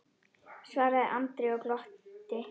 svaraði Ari og glotti.